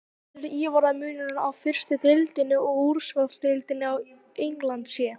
Hver telur Ívar að munurinn á fyrstu deildinni og úrvalsdeildinni á Englandi sé?